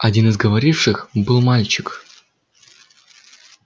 один из говоривших был мальчик